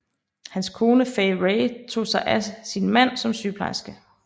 Hans kone Fay Wray tog sig af sin mand som sygeplejerske